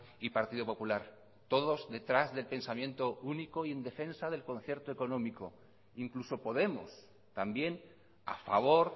y partido popular todos detrás del pensamiento único y en defensa del concierto económico incluso podemos también a favor